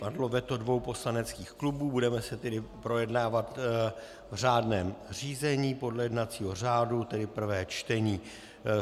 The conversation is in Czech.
Padlo veto dvou poslaneckých klubů, budeme to tedy projednávat v řádném řízení podle jednacího řádu, tedy prvé čtení.